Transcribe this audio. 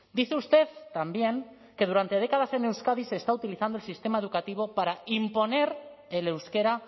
dice usted también que durante décadas en euskadi se está utilizando el sistema educativo para imponer el euskera